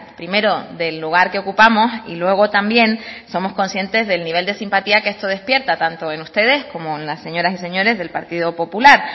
primero del lugar que ocupamos y luego también somos conscientes del nivel de simpatía que esto despierta tanto en ustedes como en las señoras y señores del partido popular